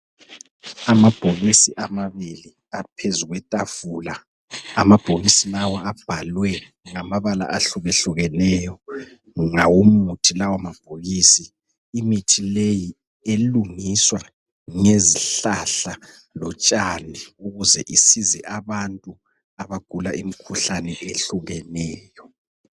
Amabhokisi amabili aphezulu kwetafula. Amabhokisi lawa abhalwe ngamabala ahlukehlukeneyo ngawomuthi lawamabhokisi. Imithi leyi elungiswa ngezihlahla lotshani ukuze isize abantu abagula imikhuhlane ehlukeneyo.